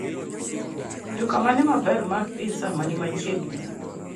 Duka mane maber mar pizza machiegn